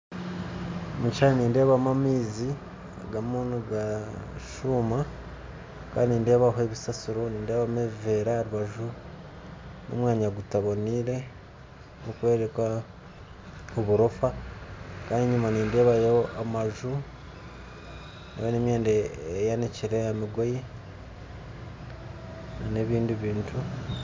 Omukishushani nindeebamu amaizi gariyo nigashuuma nindeebamu ebisasiro nindeebamu ebiveera aharubaju nomwanya gutaboneire gurikworeka oburofa Kandi nenyuma nindeebayo amaju nemyenda eyanikire aha migoye nebindi bintu